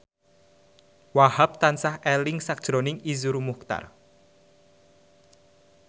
Wahhab tansah eling sakjroning Iszur Muchtar